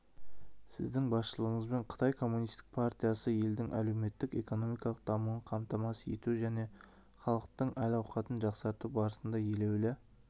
сіздің басшылығыңызбен қытай коммунистік партиясы елдің әлеуметтік-экономикалық дамуын қамтамасыз ету және халықтың әл-ауқатын жақсарту барысында елеулі